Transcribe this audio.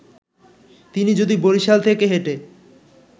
তিনি যদি বরিশাল থেকে হেঁটে